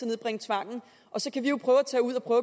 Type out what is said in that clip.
nedbringe tvangen og så kan vi jo tage ud og